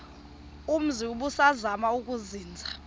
umzi ubusazema ukuzinza